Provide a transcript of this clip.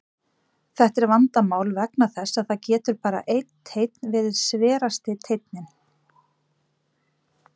Þetta er vandamál vegna þess að það getur bara einn teinn verið sverasti teinninn.